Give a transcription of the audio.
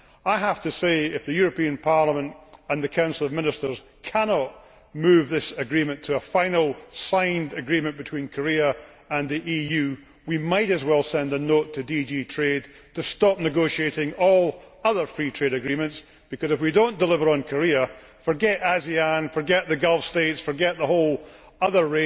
I have to say that, if the European Parliament and the Council of Ministers cannot move this agreement to a final signed agreement between Korea and the EU, we might as well send a note to DG Trade to stop negotiating all other free trade agreements because, if we do not deliver on Korea, forget ASEAN, forget the Gulf States, forget the whole other